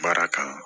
Baara kanu